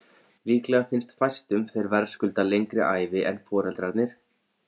Líklega finnst fæstum þeir verðskulda lengri ævi en foreldrarnir.